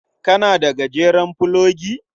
Kana da gajeren fulogi?